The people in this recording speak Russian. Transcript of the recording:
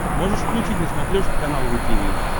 можешь включить на смотрешке канал ру ти ви